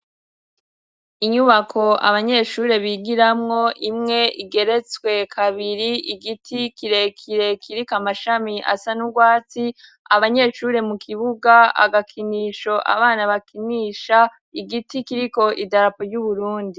Inyubako abanyeshure bigiramwo, imwe igeretswe kabiri, igiti kire kire kiriko amashami asa n'urwatsi, abanyeshure mu kibuga agakinisho abana bakinisha, igiti kiriko idarapo ry'Uburundi.